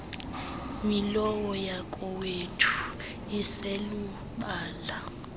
milowo yakowethu iselubala